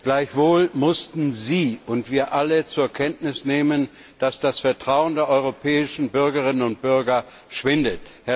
Gleichwohl mussten Sie und wir alle zur Kenntnis nehmen, dass das Vertrauen der europäischen Bürger und Bürgerinnen schwindet.